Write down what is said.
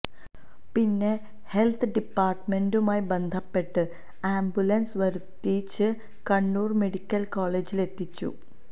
പിന്നെ ഹെല്ത്ത് ഡിപ്പാര്ട്ട്മെന്റുമായി ബന്ധപ്പെട്ട് ആംബുലന്സ് വരുത്തിച്ച് കണ്ണൂര് മെഡിക്കല് കോളേജിലെത്തിച്ചു